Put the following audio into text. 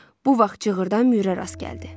Bu vaxt cığırdan Müürə rast gəldi.